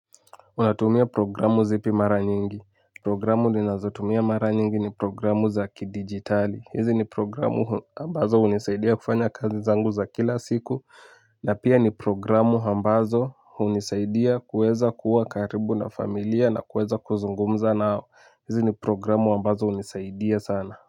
Unatumia programu zipi mara nyingi. Programu ninazotumia mara nyingi ni programu za kidijitali. Hizi ni programu ambazo unisaidia kufanya kazi zangu za kila siku. Na pia ni programu hambazo hunisaidia kuweza kuwa karibu na familia na kuweza kuzungumza nao. Hizi ni programu ambazo unisaidia sana.